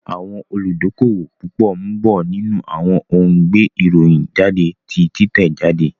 Àwọn olùdókówò púpọ̀ ń bọ̀ nínú àwọn ohun gbé ìròyìn jáde ti títẹ̀ jáde